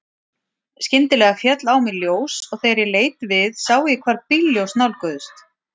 Skyndilega féll á mig ljós og þegar ég leit við sá ég hvar bílljós nálguðust.